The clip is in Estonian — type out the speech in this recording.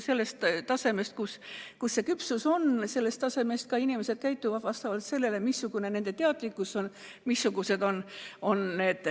Inimesed, kellel on mured, käituvad vastavalt sellele, kui suur nende teadlikkus on.